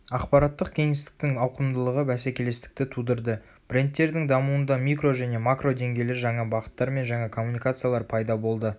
ақапараттық кеңістіктің ауықымдылығы бәсекелестікті тудырды брендтердің дамуында микро және макро деңгейлер жаңа бағыттар мен жаңа коммуникациялар пайда болды